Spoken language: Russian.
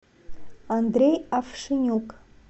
андрей авшенюк